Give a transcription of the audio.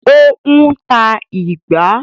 Ó ń ta “ìgbá”.